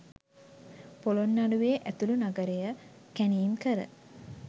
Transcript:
පොළොන්නරුවේ ඇතුළු නගරය කැණීම්කර,